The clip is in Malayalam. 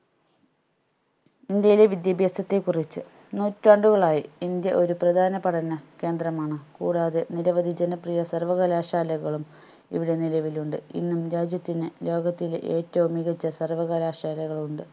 ഇന്ത്യയിലെ വിദ്യാഭ്യാസത്തെ കുറിച്ച് നൂറ്റാണ്ടുകളായി ഇന്ത്യ ഒരു പ്രധാന പഠന കേന്ദ്രമാണ് കൂടാതെ നിരവധി ജനപ്രിയ സര്‍വ്വകലാശാലകളും ഇവിടെ നിലവിൽ ഉണ്ട് ഇന്നും രാജ്യത്തിന് ലോകത്തിലെ ഏറ്റവും മികച്ച സർവ്വകലാശാലകളുണ്ട്